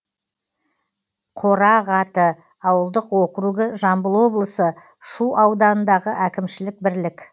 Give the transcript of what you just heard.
қорағаты ауылдық округі жамбыл облысы шу ауданындағы әкімшілік бірлік